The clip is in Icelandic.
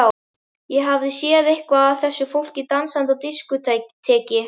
Ég hafði séð eitthvað af þessu fólki dansandi á diskóteki.